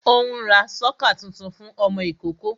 Ó ń ra sọ́kà tuntun fún ọmọ ìkókó